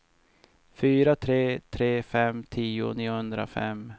fyra tre tre fem tio niohundrafem